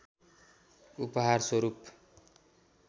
उपहार स्वरूप